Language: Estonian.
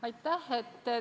Aitäh!